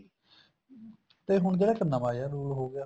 ਤੇ ਹੁਣ ਜਿਹੜਾ ਇੱਕ ਨਵਾਂ ਜਾ rule ਹੋਗਿਆ